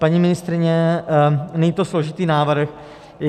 Paní ministryně, není to složitý návrh.